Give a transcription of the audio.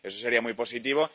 eso sería muy positivo.